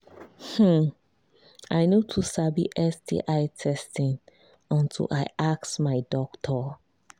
hmmm i no too sabi sti testing until i ask my doctor